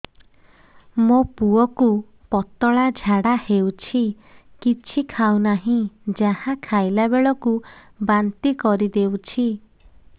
ମୋ ପୁଅ କୁ ପତଳା ଝାଡ଼ା ହେଉଛି କିଛି ଖାଉ ନାହିଁ ଯାହା ଖାଇଲାବେଳକୁ ବାନ୍ତି କରି ଦେଉଛି